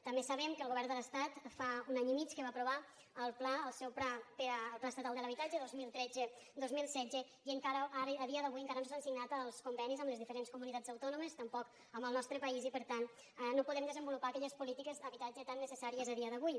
també sabem que el govern de l’estat fa un any i mig que va aprovar el pla estatal de l’habitatge dos mil tretze dos mil setze i a dia d’avui encara no s’han signat els convenis amb les diferents comunitats autònomes tampoc amb el nostre país i per tant no podem desenvolupar aquelles polítiques d’habitatge tan necessàries a dia d’avui